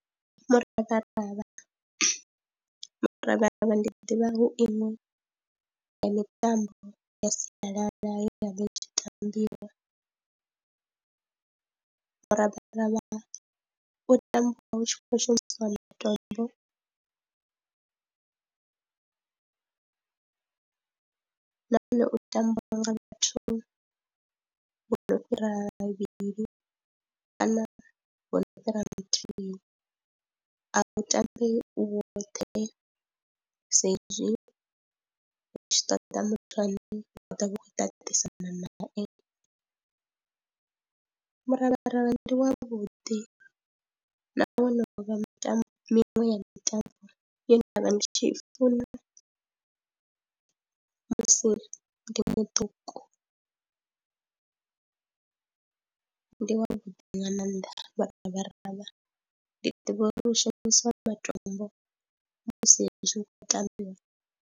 Muravharavha, muravharavha ndi ḓivha hu iṅwe ya mitambo ya sialala ye ya vha i tshi tambiwa, muravharavha u tambiwa hu tshi khou shumisiwa matombo nahone u tambiwa nga vhathu vho no fhira vhavhili kana vho no fhira muthihi, a u tambambiwi u woṱhe sa izwi hu tshi ṱoda muthu ane wa ḓo vha khou ṱaṱisana nae, muravharavha ndi wavhuḓi nahone wo no vha mitambo miṅwe ya mitambo ye nda vha ndi tshi i funa musi ndi muṱuku, ndi wavhuḓi nga maanḓa muravharavha ndi ḓivha uri hu shumisiwa matombo musi zwi khou tambiwa.